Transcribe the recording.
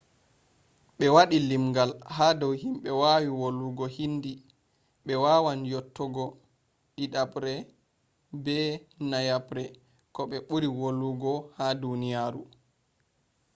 ɓe waɗi limgal ha dou himbe wawi volwugo hindi. ɓe wawan yottogo ɗiɗaɓre be nayaɓre ko ɓe ɓuri wolwogo ha duniyaru